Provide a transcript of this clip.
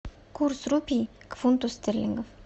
курс рупий к фунту стерлингов